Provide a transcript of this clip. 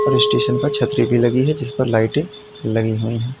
और स्टेशन पर छतरी भी लगी है जिस पर लाइटें लगी हुई हैं।